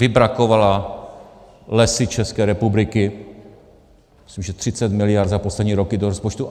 Vybrakovala Lesy České republiky, myslím, že 30 miliard za poslední roky do rozpočtu.